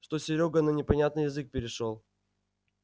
что серёга на непонятный язык перешёл